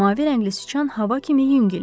Mavi rəngli siçan hava kimi yüngül idi.